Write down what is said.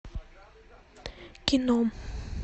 кино